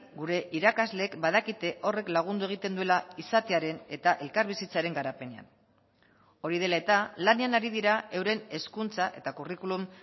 gure irakasleek badakite horrek lagundu egiten duela izatearen eta elkarbizitzaren garapenean hori dela eta lanean ari dira euren hezkuntza eta curriculum